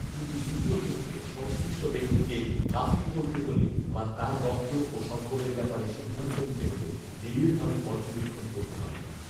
কিন্তু দ্বিতীয় ক্ষেত্রে সংশ্লিষ্ট ব্যক্তিকে কাফির বলতে হলে বা তার রক্ত ও সম্পদের ব্যাপারে সিদ্ধান্ত নিতে হলে নিবিঢ়ভাবে পর্যবেক্ষণ করতে হবে